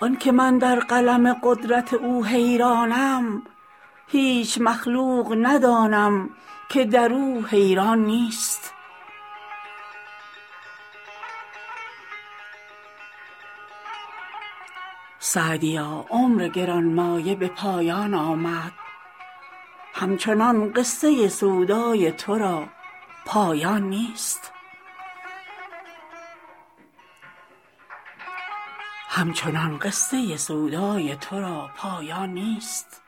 آن که من در قلم قدرت او حیرانم هیچ مخلوق ندانم که در او حیران نیست سعدیا عمر گران مایه به پایان آمد همچنان قصه سودای تو را پایان نیست